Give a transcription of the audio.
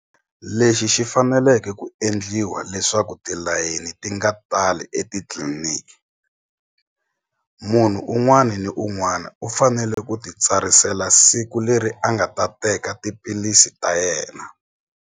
Lexi xi faneleke ku endliwa leswaku tilayeni ti nga tali etitliliniki munhu un'wani ni un'wana u fanele ku titsarisela siku leri a nga ta teka tiphilisi ta yena.